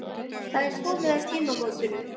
Það er komið að tímamótunum.